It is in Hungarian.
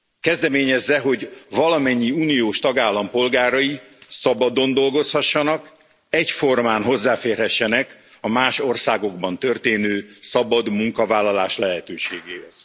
Kezdeményezze, hogy valamennyi uniós tagállam polgárai szabadon dolgozhassanak, egyformán hozzáférhessenek a más országokban történő szabad munkavállalás lehetőségéhez.